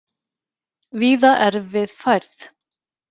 Víða erfið færð